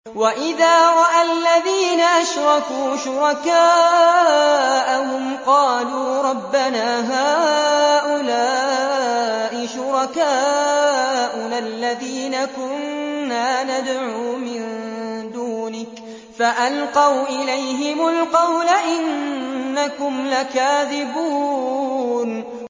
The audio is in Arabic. وَإِذَا رَأَى الَّذِينَ أَشْرَكُوا شُرَكَاءَهُمْ قَالُوا رَبَّنَا هَٰؤُلَاءِ شُرَكَاؤُنَا الَّذِينَ كُنَّا نَدْعُو مِن دُونِكَ ۖ فَأَلْقَوْا إِلَيْهِمُ الْقَوْلَ إِنَّكُمْ لَكَاذِبُونَ